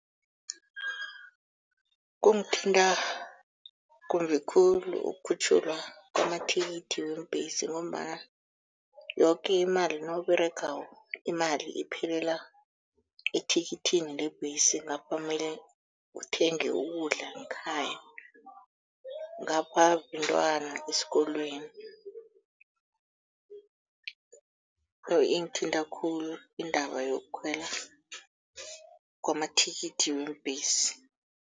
Kungithinta kumbi khulu ukukhutjhulwa kwamathikithi weembhesi ngombana yoke imali nawUberegako, imali iphelela ethikithini lebhesi ngapha mele uthenge ukudla ngekhaya, ngapha bentwana esikolweni, ingithinta khulu indaba yokukhwela kwamathikithi weembhesi.